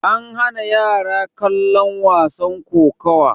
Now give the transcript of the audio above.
an hana yara kallon wasan kokowa